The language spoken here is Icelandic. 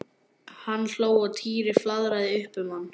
Hann hló og Týri flaðraði upp um hann.